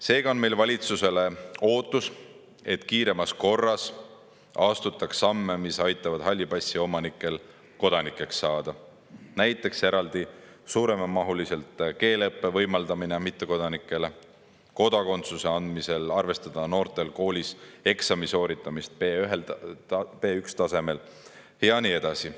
Seega on meil ootus, et kiiremas korras astuks valitsus samme, mis aitavad halli passi omanikel kodanikeks saada: näiteks eraldi suuremamahulise keeleõppe võimaldamine mittekodanikele, kodakondsuse andmisel tuleks arvestada seda, et noored on koolis sooritanud eksami B1‑tasemel ja nii edasi.